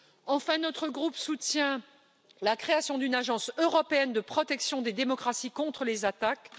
Enfin, notre groupe soutient la création d'une agence européenne de protection des démocraties contre les attaques.